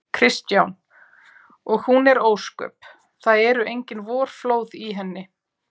Kristján: Og hún er ósköp. það eru engin vorflóð í henni?